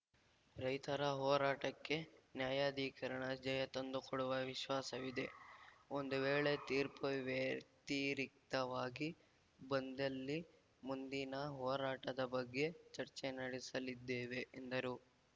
ರೈತರ ಹೋರಾಟಕ್ಕೆ ನ್ಯಾಯಾಧಿಕರಣ ಜಯ ತಂದುಕೊಡುವ ವಿಶ್ವಾಸವಿದೆ ಒಂದು ವೇಳೆ ತೀರ್ಪು ವ್ಯತಿರಿಕ್ತವಾಗಿ ಬಂದಲ್ಲಿ ಮುಂದಿನ ಹೋರಾಟದ ಬಗ್ಗೆ ಚರ್ಚೆ ನಡೆಸಲಿದ್ದೇವೆ ಎಂದರು